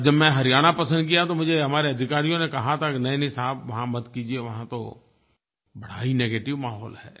और जब मैंने हरियाणा पसंद किया तो मुझे हमारे अधिकारियों ने कहा था कि नहींनहीं साहब वहाँ मत कीजिए वहाँ तो बड़ा ही नेगेटिव माहौल है